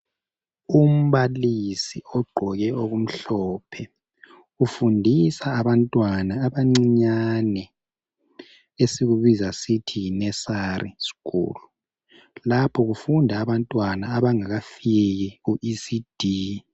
Umbalisi ogqoke okumhlophe ufundisa abantwana abancinyane esikubiza sithi yi nursery school. Lapho kufuna abantwana abangakafiki ku ECD.